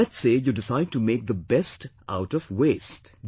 Let's say you decide to make the 'best' out of 'waste'